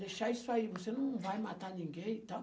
Deixar isso aí, você não vai matar ninguém e tal.